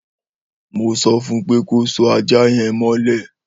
Mó sõfun pe kó sò àjá yen mõlé